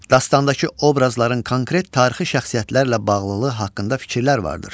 Dastandakı obrazların konkret tarixi şəxsiyyətlərlə bağlılığı haqqında fikirlər vardır.